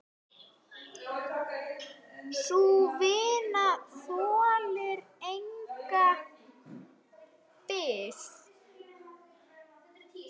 Sú vinna þolir enga bið.